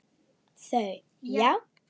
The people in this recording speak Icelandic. Þau: Já.